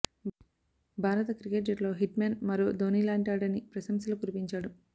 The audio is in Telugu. భారత క్రికెట్ జట్టులో హిట్మ్యాన్ మరో ధోనీ లాంటివాడని ప్రశంసలు కురిపించాడు